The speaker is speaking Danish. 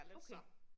Okay